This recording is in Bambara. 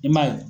I m'a ye